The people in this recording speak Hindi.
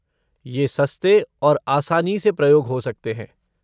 ये सस्ते और आसानी से प्रयोग हो सकते हैं।